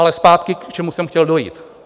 Ale zpátky, k čemu jsem chtěl dojít.